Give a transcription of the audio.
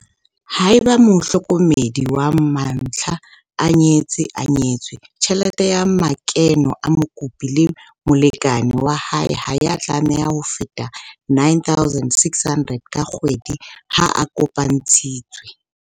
Haeba mohlokomedi wa mantlha a nyetse-nyetswe, tjhelete ya makeno a mokopi le molekane wa hae ha ya tlameha ho feta R9 600 ka kgwedi ha a kopantshitswe.